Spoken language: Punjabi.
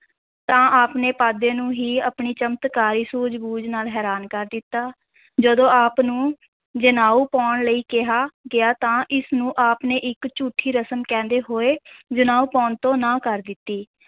ਤਾਂ ਆਪ ਨੇ ਪਾਂਧੇ ਨੂੰ ਹੀ ਆਪਣੀ ਚਮਤਕਾਰੀ ਸੂਝ-ਬੂਝ ਨਾਲ ਹੈਰਾਨ ਕਰ ਦਿੱਤਾ, ਜਦੋਂ ਆਪ ਨੂੰ ਜਨੇਊ ਪਾਉਣ ਲਈ ਕਿਹਾ ਗਿਆ ਤਾਂ ਇਸ ਨੂੰ ਆਪ ਨੇ ਇਕ ਝੂਠੀ ਰਸਮ ਕਹਿੰਦੇ ਹੋਏ ਜਨੇਊ ਪਾਉਣ ਤੋਂ ਨਾਂਹ ਕਰ ਦਿੱਤੀ।